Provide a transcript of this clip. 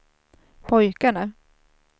pojkarna